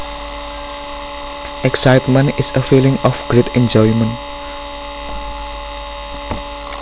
Excitement is a feeling of great enjoyment